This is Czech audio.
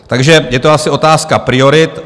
Takže je to asi otázka priorit.